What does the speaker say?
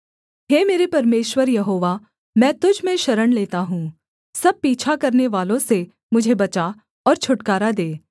हे मेरे परमेश्वर यहोवा मैं तुझ में शरण लेता हूँ सब पीछा करनेवालों से मुझे बचा और छुटकारा दे